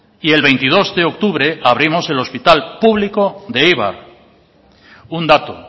y el veintidós de octubre abrimos el hospital público de eibar un dato